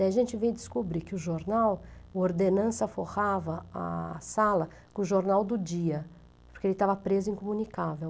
Daí a gente veio descobrir que o jornal, o ordenança forrava a sala com o jornal do dia, porque ele estava preso e incomunicável.